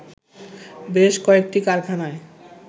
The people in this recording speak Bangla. বেশ কয়েকটি কারখানায়